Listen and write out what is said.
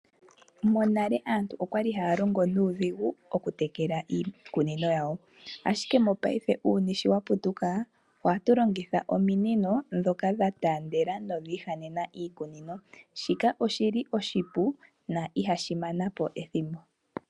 Monale aantu okwali haya longo nuudhigu okutekela iikunino yawo. Ashike mongashingeyi uuyuni wa putuka ohatu longitha ominino ndhoka dha taandela nodhi ihanena iikunino. Shika oshili oshipu no ihashi mana po ethimbo.